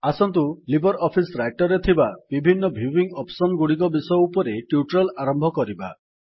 ଆସନ୍ତୁ LibreOffice Writer ରେ ଥିବା ବିଭିନ୍ନ ଭ୍ୟୁଇଙ୍ଗ୍ ଅପ୍ସନ୍ ଗୁଡିକ ବିଷୟ ଉପରେ ଟ୍ୟୁଟୋରିଆଲ୍ ଆରମ୍ଭ କରିବା